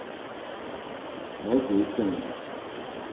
nojanson